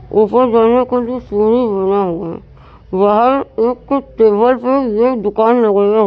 ऊपर जाने के लिए सीढ़ी बना हुआ है। बाहर एक टेबल पे ये दुकान लगाया है।